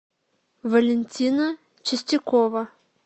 валентина чистякова